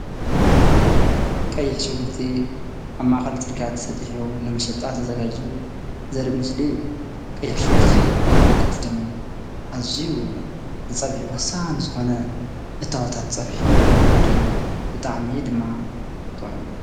ቀይሕ ሽጉርቲ ኣብ ማእኸል ፅርግያ ተሰጢሑ ንመሸጣ ተዘጋጅዩ ዘርኢ ምስሊ እዩ፡፡ ቀይሕ ሽጉርቲ ካፍቶም ኣዝዩ ንፀብሒ ወሳኒ ዝኾነ እታወታት ፀብሒ ሓደ እዩ፡፡ ብጣዕሚ እዩ ድማ ጥዑም፡፡